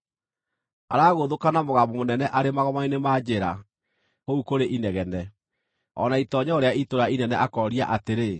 Aragũthũka na mũgambo mũnene arĩ magomano-inĩ ma njĩra kũu kũrĩ inegene, o na itoonyero rĩa itũũra inene akoria atĩrĩ: